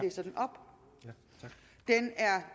at sikre